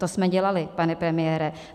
To jsme dělali, pane premiére.